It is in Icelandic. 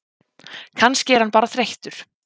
Kannski er hann bara þreyttur.